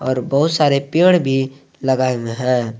और बहोत सारे पेड़ भी लगाए हुए है।